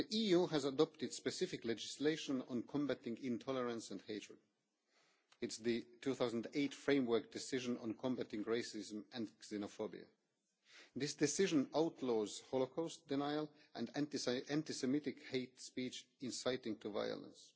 The EU has adopted specific legislation on combating intolerance and hatred, namely the 2008 Framework Decision on combating racism and xenophobia. This decision outlaws Holocaust denial and anti Semitic hate speech inciting violence.